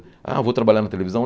Ah, vou trabalhar na televisão?